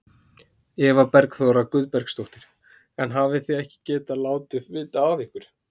Eva Bergþóra Guðbergsdóttir: En hafið þið ekki getað látið vita af ykkur?